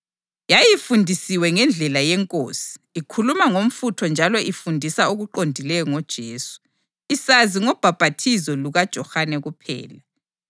Yayifundisiwe ngendlela yeNkosi, ikhuluma ngomfutho njalo ifundisa okuqondileyo ngoJesu, isazi ngobhaphathizo lukaJohane kuphela.